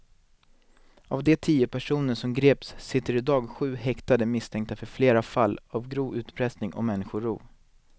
Av de tio personer som greps sitter i dag sju häktade misstänkta för flera fall av grov utpressning och människorov.